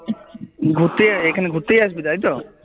ঘুরতে এখানে ঘুরতে আসবি তাইতো?